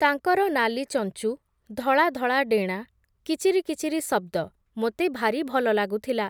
ତାଙ୍କର ନାଲି ଚଞ୍ଚୁ, ଧଳା ଧଳା ଡେଣା, କିଚିରି କିଚିରି ଶଦ୍ଦ, ମୋତେ ଭାରି ଭଲ ଲାଗୁଥିଲା ।